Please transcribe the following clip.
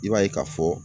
I b'a ye ka fɔ